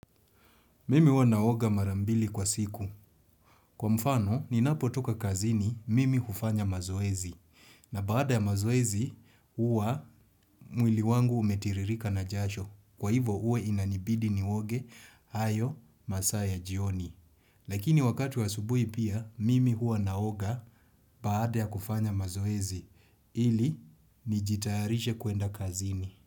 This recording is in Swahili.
Mimi huwa naoga mara mbili kwa siku. Kwa mfano, ninapotoka kazini, mimi hufanya mazoezi. Na baada ya mazoezi, huwa mwili wangu umetiririka na jasho. Kwa hivyo, huwe inanibidi nioge hayo masaa ya jioni. Lakini wakati wa asubuhi pia, mimi hua naoga baada ya kufanya mazoezi. Ili, nijitayarisha kuenda kazini.